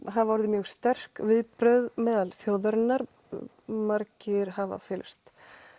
hafa orðið mjög sterk viðbrögð meðal þjóðarinnar margir hafa fyllst